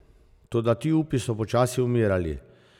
Toda ti upi so počasi umirali.